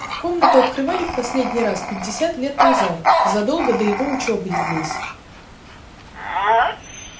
комнату открывали в последний раз пятьдесят лет назад задолго до его учёбы здесь